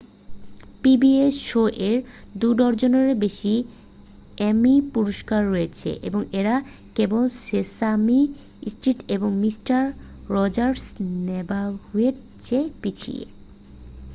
pbs শো-এর দু-ডজনেরও বেশি এ্যামি পুরষ্কার রয়েছে এবং এরা কেবল সেসামি স্ট্রিট এবং মিস্টার রজার্সের নেবারহুডের চেয়ে পিছিয়ে